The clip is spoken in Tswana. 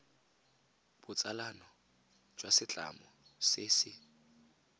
botsalano jwa setlamo se se